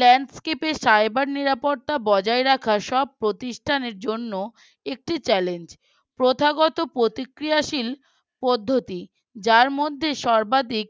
landscape cyber নিরাপত্তা বজায় রাখা সব প্রতিষ্ঠানের জন্য একটি Challange প্রথাগত প্রতিক্রিয়াশীল পদ্ধতি। যার মধ্যে সর্বাধিক